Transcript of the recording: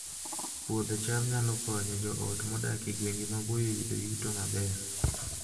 Puodho cham nyalo konyo joot modak e gwenge maboyo yudo yuto maber